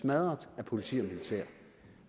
med politi og militær